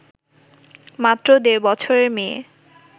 মাত্র দেড় বছরের মেয়ে